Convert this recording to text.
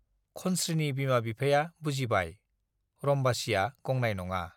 खनस्रीनि बिमा-बिफाया बुजिबाय - रम्बसीया गंनाय नङा।